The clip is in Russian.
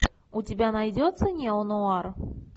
у тебя найдется неонуар